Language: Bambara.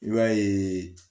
I b'a ye